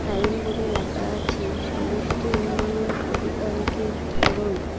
Sign বোর্ডে লেখা আছে সমষ্টি উন্নয়ন অধিকারীকের করণ।